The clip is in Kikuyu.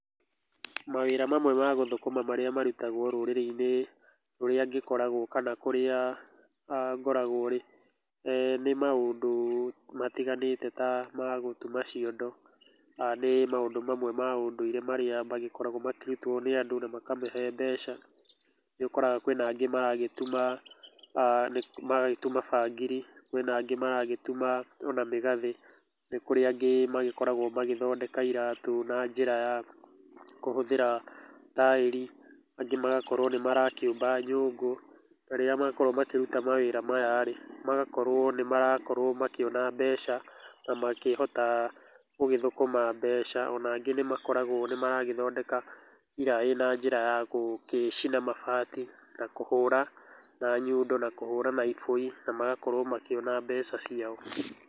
Mawĩra mamwe magũthũkuma marĩa marutagwo rũrĩrĩ-inĩ rũrĩa ngĩkoragwo, kana kũria aah ngoragwoĩ, eeh nĩ maũndũ matiganĩte ta ma gũtuma ciondo, aah nĩ maũndũ mamwe ma ũndũire marĩa magĩkoragwo makĩrutwo nĩ andũ na makĩmehe mbeca, nĩ ũkoraga kwĩna angĩ maragĩtuma aah nĩ maragĩtuma bangiri, kwĩna angĩ maragĩtuma ona mĩgathĩ, nĩ kũrĩ angĩ magĩkoragwo magĩthondeka iratũ na njĩra ya kũhũthĩra taĩri, angĩ magagĩkorwo nĩ marakĩũmba nyũngũ, na rĩrĩa makorwo makĩruta mawĩra maya-rĩ, magakorwo nĩ marakorwo makĩona mbeca, na makĩhota gũgĩthũkũma mbeca, ona angĩ nĩ makoragwo nĩ maragĩthondeka iraĩ na njĩra ya gũgĩcina mabati na kũhũra na nyundo, na kũhũra na iboi, na magakorwo makĩona mbeca ciao.